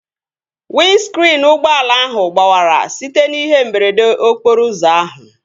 Windskriin ụgbọala ahụ gbawara site n'ihe mberede okporo ụzọ ahụ